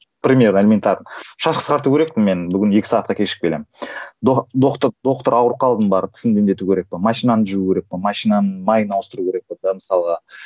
к примеру элементарно шаш қысқарту керекпін мен бүгін екі сағаттқа кешігіп келемін доктор ауырып қалдым барып тісімді емдетуім керек пе машинамды жуу керек пе машинамның майын ауыстыруым керек пе да мысалға